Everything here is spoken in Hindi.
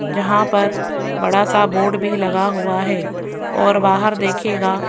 यहां पर बड़ा सा बोर्ड भी लगा हुआ है और बाहर देखिएगा--